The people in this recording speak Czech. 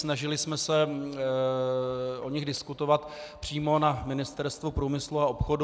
Snažili jsme se o nich diskutovat přímo na Ministerstvu průmyslu a obchodu.